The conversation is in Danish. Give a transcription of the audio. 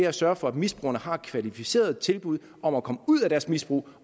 at sørge for at misbrugerne har et kvalificeret tilbud om at komme ud af deres misbrug